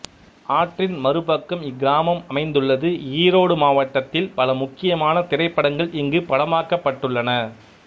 ஆற்றின் மறுபக்கம் இக்கிராமம் அமைந்துள்ளது ஈரோடு மாவட்டத்தில் பல முக்கியமான திரைப்படங்கள் இங்கு படமாக்கப்பட்டுள்ளன